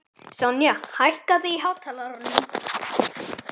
Sonja, hækkaðu í hátalaranum.